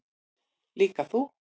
Líka þú.